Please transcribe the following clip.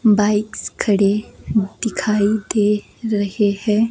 Bikes खड़े दिखाई दे रहे हैं।